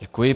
Děkuji.